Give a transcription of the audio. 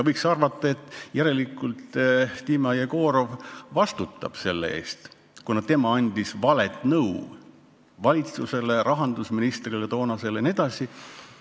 Võiks arvata, et järelikult Dima Jegorov vastutab selle eest, kuna tema andis valet nõu valitsusele, toonasele rahandusministrile jne.